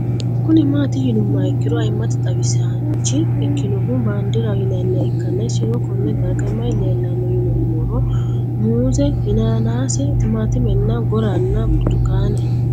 Kuni mati yinumoha ikiro ayimate xawisanch ikinoha bandiraho yinaniha ikana isino Kone darga mayi leelanno yinumaro muuze hanannisu timantime gooranna buurtukaane